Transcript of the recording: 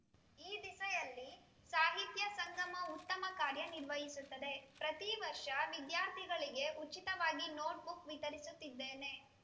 ಈ ದಿಸೆಯಲ್ಲಿ ಸಾಹಿತ್ಯ ಸಂಗಮ ಉತ್ತಮ ಕಾರ್ಯ ನಿರ್ವಹಿಸುತ್ತದೆ ಪ್ರತಿವರ್ಷ ವಿದ್ಯಾರ್ಥಿಗಳಿಗೆ ಉಚಿತವಾಗಿ ನೋಟ್‌ಬುಕ್‌ ವಿತರಿಸುತ್ತಿದ್ದೇನೆ